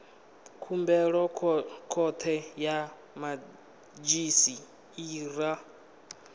khumbelo khothe ya madzhisi ṱira